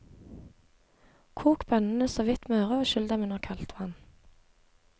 Kok bønnene såvidt møre og skyll dem under kaldt vann.